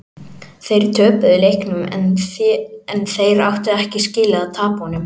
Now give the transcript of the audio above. Þeir töpuðu leiknum en þeir áttu ekki skilið að tapa honum.